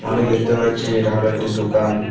আমি দেখতে পাচ্ছি এটা হল একটি দোকান।